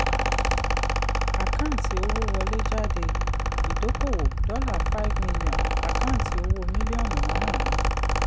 àkáǹtì owó wọlé jáde: idókòwò dollar five million àkáǹtì owó mílíọ̀nù márùn-ún.